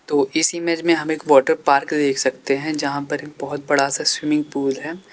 तो इस ईमेज में हम एक वाटरपार्क देख सकते हैं जहां पर एक बोहोत बड़ा सा स्विमिंग पुल है।